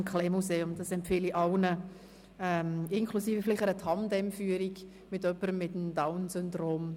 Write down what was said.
Ich empfehle allen einen Besuch, vielleicht inklusive einer Tandem-Führung mit jemandem mit Down-Syndrom.